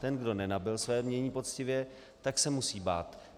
Ten, kdo nenabyl své jmění poctivě, tak se musí bát.